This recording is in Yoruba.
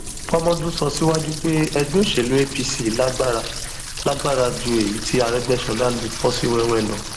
fọmọdún sọ síwájú pé ẹgbẹ òṣèlú apc lágbára lágbára ju èyí tí arégbèsọlá lè fò sí wéèwé lọ